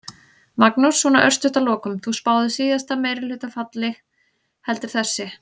Magnús: Svona örstutt að lokum, þú spáðir síðasta meirihluta falli, heldur þessi?